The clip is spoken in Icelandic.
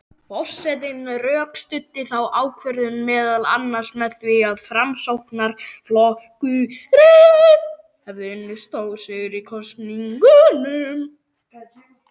Forsetinn rökstuddi þá ákvörðun meðal annars með því að Framsóknarflokkurinn hefði unnið stórsigur í kosningunum.